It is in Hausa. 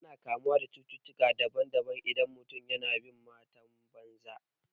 Ana kamuwa da cututtukan daban daban idan mutum yana bin matan banza